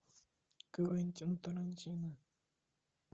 квентин тарантино